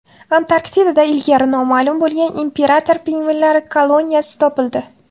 Antarktidada ilgari noma’lum bo‘lgan imperator pingvinlari koloniyasi topildi.